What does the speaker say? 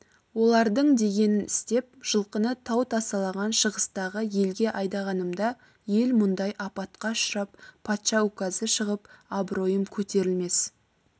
олардың дегенін істеп жылқыны тау тасалаған шығыстағы елге айдағанымда ел мұндай апатқа ұшырап патша указы шығып абыройым көтерілмес